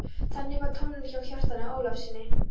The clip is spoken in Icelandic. Þannig var tónninn hjá Kjartani Ólafssyni.